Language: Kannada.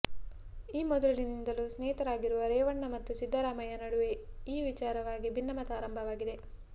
ಈ ಮೊದಲಿನಿಂದಲೂ ಸ್ನೇಹಿತರಾಗಿರುವ ರೇವಣ್ಣ ಮತ್ತು ಸಿದ್ದರಾಮಯ್ಯ ನಡುವೆ ಈ ವಿಚಾರವಾಗಿ ಭಿನ್ನಮತ ಆರಂಭವಾಗಿದೆ